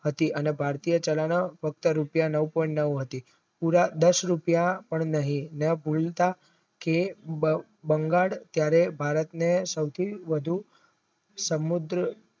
હતી અને ભાગ્ય ચાલને ફક્ત રૂપિયા નવ point નવ હતી એવા દાસ રૂપિયા પણ નહિ ન ફુલતાં કે બ બંગાળ ત્યરે ભારતને સૌ થી વધુ સંબંધો